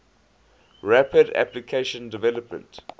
rapid application development